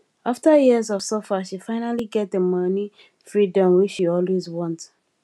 after years of suffer she finally get di money freedom wey she always want